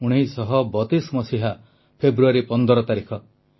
1932 ମସିହା ଫେବୃଆରୀ 15 ତାରିଖ